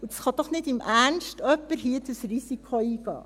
Und dieses Risiko kann doch nicht im Ernst jemand hier eingehen.